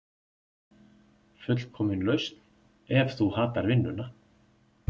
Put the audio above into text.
Fullkomin lausn ef þú hatar vinnuna